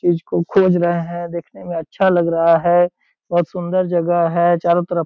चीज को खोज रहे हैं देखने में अच्छा लग रहा है बहुत सुन्दर जगह है चारों तरफ।